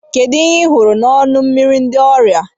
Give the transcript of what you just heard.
Kedu ihe ị hụrụ n'ọnụ mmiri ndị ọrịa?